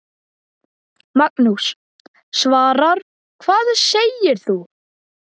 Magnús: Svavar, hvað segir þú?